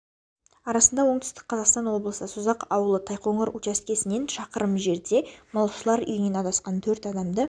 арасында оңтүстік қазақстан облысы созақ ауылы тайқоңыр учаскесінен шақырым жерде малшылар үйінен адасқан төрт адамды